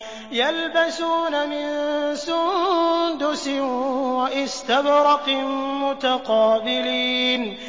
يَلْبَسُونَ مِن سُندُسٍ وَإِسْتَبْرَقٍ مُّتَقَابِلِينَ